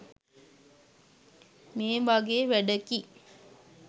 මේ වගේ වැඩකි.